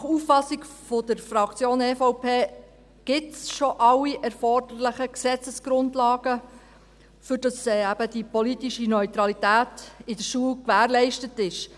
Nach Auffassung der Fraktion EVP gibt es alle erforderlichen Gesetzesgrundlagen bereits, damit eben die politische Neutralität in der Schule gewährleistet ist.